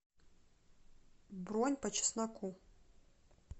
бронь по чесноку